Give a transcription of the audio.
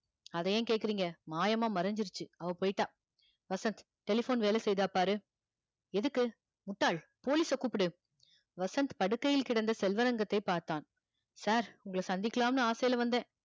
அதை ஏன் கேக்குறீங்க மாயமா மறைஞ்சிருச்சு அவ போயிட்டா வசந்த் telephone வேலை செய்யுதா பாரு எதுக்கு முட்டாள் police அ கூப்பிடு வசந்த் படுக்கையில் கிடந்த செல்வரங்கத்தை பார்த்தான் sir உங்களை சந்திக்கலாம்னு ஆசையில வந்தேன்